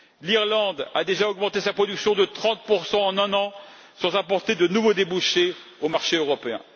L'Irlande a déjà augmenté sa production de 30 en un an sans apporter de nouveaux débouchés au marché européen.